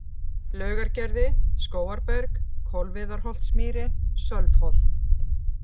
Laugargerði, Skógarberg, Kolviðarholtsmýri, Sölvholt